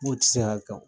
N ko ti se ka kɛ o